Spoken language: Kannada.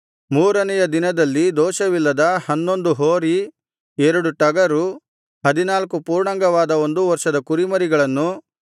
ಮೂರನೆಯ ದಿನದಲ್ಲಿ ದೋಷವಿಲ್ಲದ ಹನ್ನೊಂದು ಹೋರಿ ಎರಡು ಟಗರು ಹದಿನಾಲ್ಕು ಪೂರ್ಣಾಂಗವಾದ ಒಂದು ವರ್ಷದ ಕುರಿಮರಿಗಳನ್ನೂ